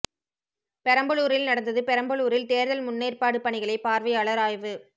பெரம்பலூரில் நடந்தது பெரம்பலூரில் தேர்தல் முன்னேற்பாடு பணிகளை பார்வையாளர் ஆய்வு